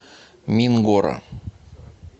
мингора